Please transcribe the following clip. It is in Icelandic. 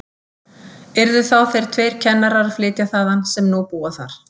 Yrðu þá þeir tveir kennarar að flytja þaðan, sem nú búa þar.